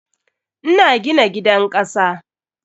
Ina gina gidan kasa.